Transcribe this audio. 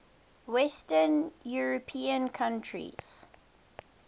western european countries